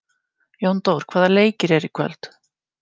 Jóndór, hvaða leikir eru í kvöld?